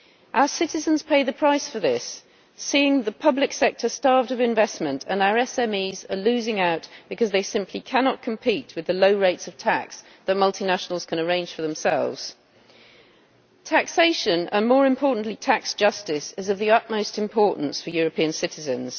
Our citizens pay the price for this seeing the public sector starved of investment and our SMEs losing out because they simply cannot compete with the low rates of tax that multinationals can arrange for themselves. Taxation and, more importantly, tax justice is of the utmost importance for European citizens.